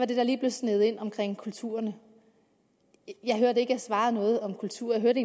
den der lige blev sneget ind om kulturerne jeg hørte ikke at jeg svarede noget om kultur jeg hørte